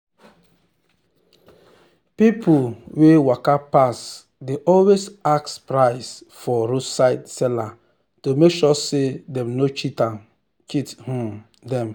people wey waka pass dey always ask price for roadside seller to make sure say dem no cheat um them.